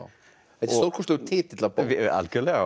þetta er stórkostlegur titill á bók algjörlega